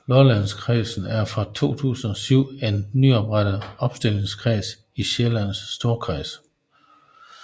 Lollandkredsen er fra 2007 en nyoprettet opstillingskreds i Sjællands Storkreds